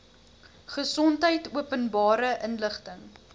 gesondheid openbare inligting